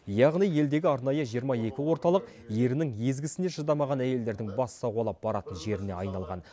яғни елдегі арнайы жиырма екі орталық ерінің езгісіне шыдамаған әйелдердің бас сауғалап баратын жеріне айналған